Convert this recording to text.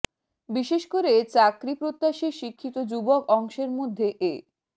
বিশেষ করে চাকরি প্রত্যাশী শিক্ষিত যুবক অংশের মধ্যে এ